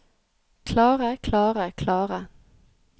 klare klare klare